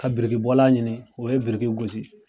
Ka birikibɔla ɲini o yebiriki gosi.